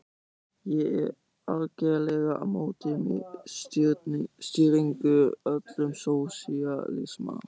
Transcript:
Ég er algerlega á móti miðstýringu, öllum sósíalisma.